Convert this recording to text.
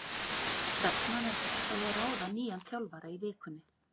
Stefnan er sett á að ráða nýjan þjálfara í vikunni.